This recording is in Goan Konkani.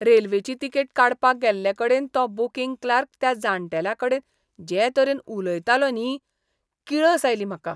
रेल्वेची तिकेट काडपाक गेल्ले कडेन तो बूकिंग क्लार्क त्या जाण्टेल्याकडेन जे तरेन उलयतालो न्ही, किळस आयली म्हाका.